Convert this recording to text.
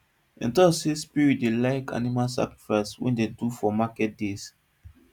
dem talk say spirits dey like animal sacrifice wey dem do for market days